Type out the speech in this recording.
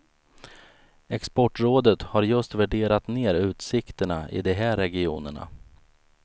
Exportrådet har just värderat ner utsikterna i de här regionerna.